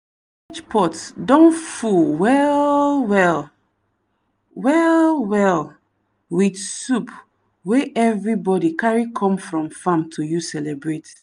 pot don full well-well well-well with soup wey everybody carry come from farm to use celebrate.